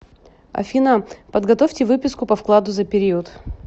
афина подготовьте выписку по вкладу за период